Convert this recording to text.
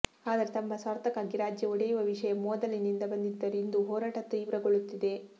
ಆದರೆ ತಮ್ಮ ಸ್ವಾರ್ಥಕ್ಕಾಗಿ ರಾಜ್ಯ ಒಡೆಯುವ ವಿಷಯ ಮೋದಲಿನಿಂದ ಬಂದಿದ್ದರು ಇಂದು ಹೋರಾಟ ತಿವ್ರಗೊಳ್ಳುತ್ತಿದೆ